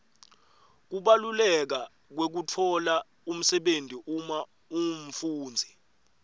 kubaluleka kwekutfola umsebenti uma ungumfundzi